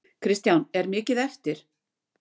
Kristján: Er mikið eftir?